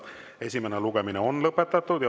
Esimene lugemine on lõpetatud.